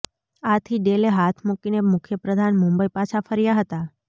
આથી ડેલે હાથ મૂકીને મુખ્યપ્રધાન મુંબઈ પાછા ફર્યા હતા